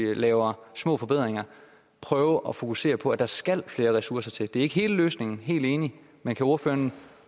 vi laver små forbedringer prøve at fokusere på at der skal flere ressourcer til det er ikke hele løsningen helt enig men kan ordføreren